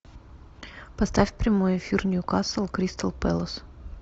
поставь прямой эфир ньюкасл кристал пэлас